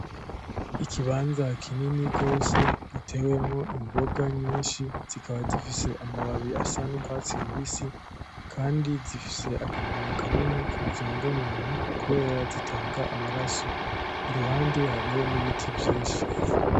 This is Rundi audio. Ikibanza kinini gose gitewemwo imboga nyinshi zikaba zifise amababi asa n'urwatsi rubisi kandi zifise akamaro kanini kubuzima bw'umuntu kubera zitanga amaraso iruhande hariho n'ibiti vyinshi